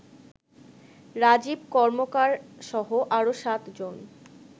রাজীব কর্মকারসহ আরো সাতজন